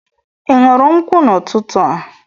ị ṅụrụ nkwụ n'ụtụtụ a?